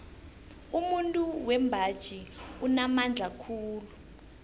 umuntu wembaji unamandla khulu